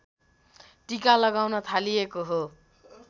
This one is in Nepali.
टीका लगाउन थालिएको हो